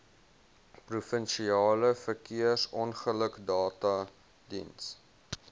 provinsiale verkeersongelukdata diens